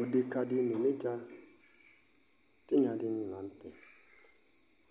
Odeka di n'onedza tigna dini la n'tɛ